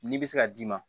Ni bɛ se ka d'i ma